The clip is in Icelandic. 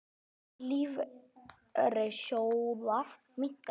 Eign lífeyrissjóða minnkaði